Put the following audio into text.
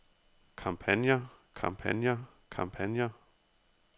kampagner kampagner kampagner